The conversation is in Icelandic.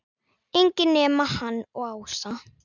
Enginn nema hann og Ása.